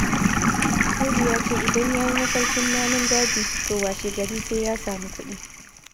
Audu ya ce idan yayi mafarkin namun daji, to washegari sai ya samu kuɗi.